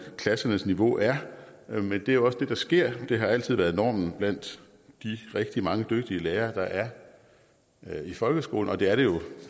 klassernes niveau er men det er jo også det der sker det har altid været normen blandt de rigtig mange dygtige lærere der er i folkeskolen og det er det jo